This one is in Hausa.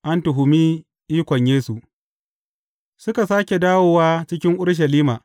An tuhumi ikon Yesu Suka sāke dawowa cikin Urushalima.